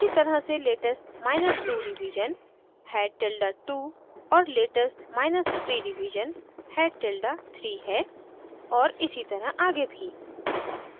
इसी तरह latest2 revision नवीनतम से दो पहले head tilde 2 है latest3 रिवीजन नवीनतम से तीन पहले head tilde 3 है और इसी तरह आगे भी